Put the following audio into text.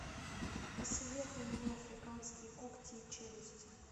посоветуй мне африканские когти и челюсти